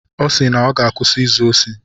Ọ sị na ọ ga-akwụsị izu osi.